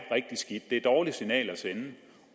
et dårligt signal at sende